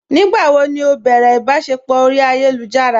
Nígbàwó ni ó bẹ̀rẹ̀ ìbàṣẹpọ̀ orí ayélujára?